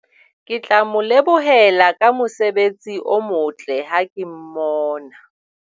Ke tla mo lebohela ka mosebetsi o motle ha ke mmona.